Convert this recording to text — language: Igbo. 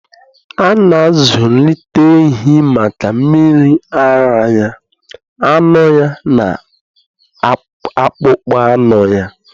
A na-azụlite ehi maka mmiri ara ya, anụ ya, na akpụkpọ anụ ya.